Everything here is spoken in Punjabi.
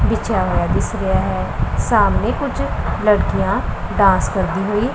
ਬਿਛੇਆ ਹੋਇਆ ਦਿਸ ਰਿਹਾ ਹੈ ਸਾਹਮਣੇ ਕੁਝ ਲੜਕੀਆਂ ਡਾਂਸ ਕਰਦੀ ਹੋਈ --